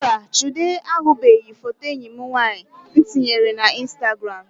Mba, Chude ahụbeghị foto enyi m nwaanyị tinyere na instagram